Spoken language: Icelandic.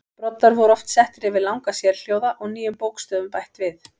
Broddar voru oft settir yfir langa sérhljóða og nýjum bókstöfum bætt við.